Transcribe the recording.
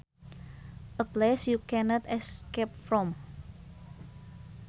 A place you cannot escape from